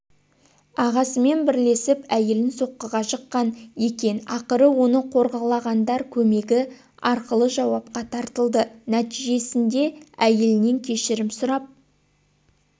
ағасымен бірлесіп әйелін соққыға жыққан екен ақыры оны қорлағандар көмегі арқылыжауапқа тартылды нәтижесіндеәйелінен кешірім сұрап